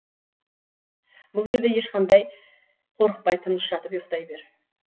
бұл жерде ешқандай қорықпай тыныш жатып ұйықтай бер